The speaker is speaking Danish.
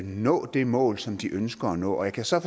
nå det mål som de ønsker at nå jeg kan så